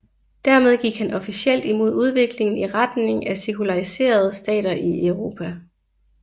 Dermed gik han officielt imod udviklingen i retning af sekulariserede stater i Europa